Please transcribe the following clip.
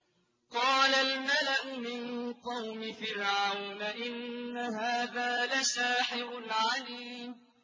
قَالَ الْمَلَأُ مِن قَوْمِ فِرْعَوْنَ إِنَّ هَٰذَا لَسَاحِرٌ عَلِيمٌ